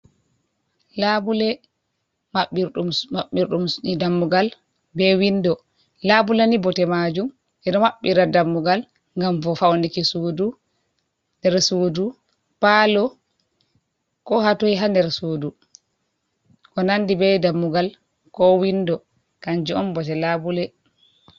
Laabule maɓɓirɗum su maɓɓirɗum su dammugal be windo, labule ni bote majum eɗo maɓɓiira dammugal ngam bo faunuki nder suudu, palo ko hatoi ha nder sudu. ko nandi be dammugal ko windo kanjum on bote laabule.